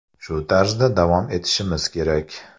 Shu tarzda davom etishimiz kerak.